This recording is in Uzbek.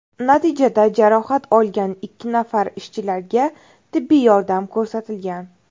Natijada jarohat olgan ikki nafar ishchilarga tibbiy yordam ko‘rsatilgan.